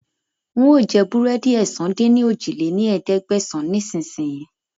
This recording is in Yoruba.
Ń ó jẹ búrẹ́dì ẹ̀sán-dín-ní-ojì lé ní ẹ̀ẹ́dẹ́gbẹ́sán ni ìsìn sìn yìí